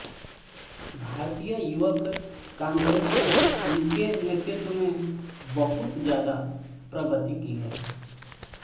भारतीय युवक काँग्रेस ने उनके नेतृत्व में बहुत ज्यादा प्रगति की है